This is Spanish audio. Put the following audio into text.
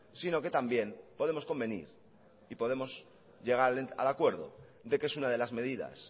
sino que también podemos convenir y podemos llegar al acuerdo de que es una de las medidas